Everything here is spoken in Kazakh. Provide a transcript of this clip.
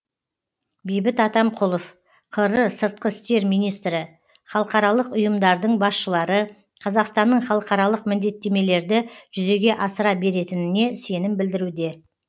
бейбіт атамқұлов қр сыртқы істер министрі халықаралық ұйымдардың басшылары қазақстанның халықаралық міндеттемелерді жүзеге асыра беретініне сенім білдіруде